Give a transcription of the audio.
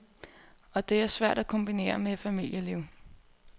Og det er svært at kombinere med et familieliv.